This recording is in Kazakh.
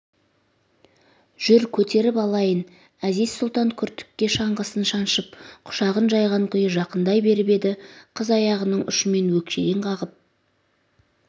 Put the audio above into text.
жүр көтеріп алайын әзиз-сұлтан күртікке шаңғысын шаншып құшағын жайған күйі жақындай беріп еді қыз аяғының ұшымен өкшеден қағып